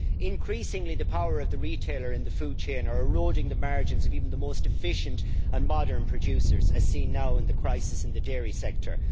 Increasingly the power of the retailer in the food chain is eroding the margins of even the most efficient and modern producers, as seen now in the crisis in the dairy sector.